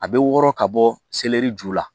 A bɛ wɔɔrɔ ka bɔ selɛri ju la